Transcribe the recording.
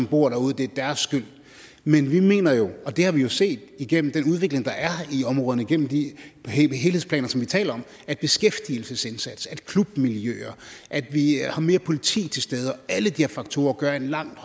bor derude der har skylden men vi mener jo og det har vi set igennem den udvikling der er i områderne gennem de helhedsplaner som vi taler om at beskæftigelsesindsats at klubmiljøer at vi har mere politi til stede og alle de her faktorer gør langt